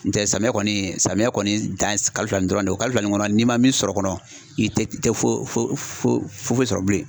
Nɔntɛ, samiya kɔni ,samiyɛ kɔni dan ye kalo fila dɔrɔn de ye, kalo fila nin kɔnɔ, n'i ma min sɔrɔ o kɔnɔ, i tɛ foyi foyi sɔrɔ bilen.